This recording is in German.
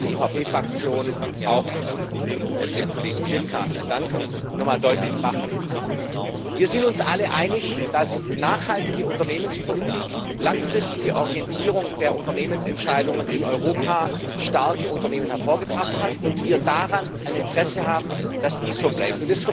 Ich möchte für die EVP-Fraktion auch dem Kollegen Zwiefka dankend nochmal deutlich machen Wir sind uns alle einig, dass nachhaltige Unternehmenspolitik, langfristige Orientierung der Unternehmensentscheidungen in Europa starke Unternehmen hervorgebracht hat, und wir ein Interesse daran haben, dass dies so bleibt.